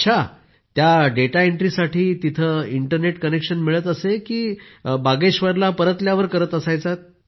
अच्छा त्या डेटा एंट्रीसाठी तिथं इंटरनेट कनेक्शन मिळत असे की बागेश्वरला परतल्यावर करत असायचा